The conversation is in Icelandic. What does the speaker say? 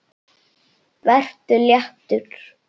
Vertu léttur.